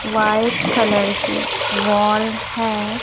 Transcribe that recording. White colour की wall है।